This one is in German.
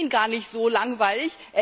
Ich finde ihn gar nicht so langweilig